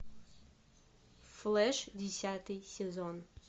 флэш десятый сезон